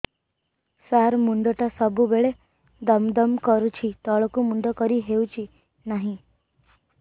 ସାର ମୁଣ୍ଡ ଟା ସବୁ ବେଳେ ଦମ ଦମ କରୁଛି ତଳକୁ ମୁଣ୍ଡ କରି ହେଉଛି ନାହିଁ